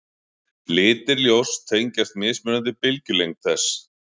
litir ljóss tengjast mismunandi bylgjulengd þess